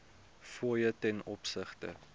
fooie ten opsigte